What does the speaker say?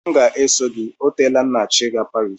M ga-esoro gị o teela m na-achọ ị gaa Paris